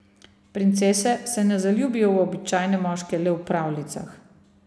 Princese se ne zaljubijo v običajne moške le v pravljicah.